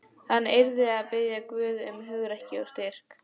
Hann yrði að biðja Guð um hugrekki og styrk.